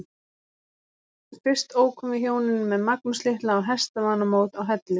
Fyrst ókum við hjónin með Magnús litla á hestamannamót á Hellu.